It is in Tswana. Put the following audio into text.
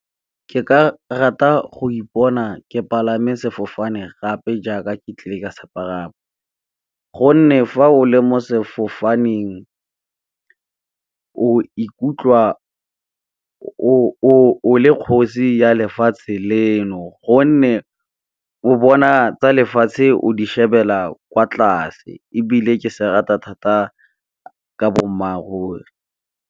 Ke ka rata go ipona ke palame sefofane gape jaaka ke tlile ka sepalama. Gonne, fa o le mo sefofaneng o ikutlwa o le kgosi ya lefatshe leno gonne, o bona tsa lefatshe o di shebelela kwa tlase ebile ke se rata thata ka boammaaruri.